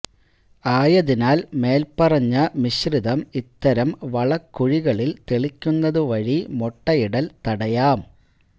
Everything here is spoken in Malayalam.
ആയതിനാൽ മേൽപറഞ്ഞ മിശ്രിതം ഇത്തരം വളക്കുഴികളിൽ തെളിക്കുന്നത് വഴി മുട്ടയിടൽ തടയാം